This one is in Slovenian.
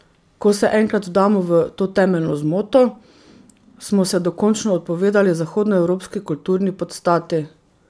Ko se enkrat vdamo v to temeljno zmoto, smo se dokončno odpovedali zahodnoevropski kulturni podstati.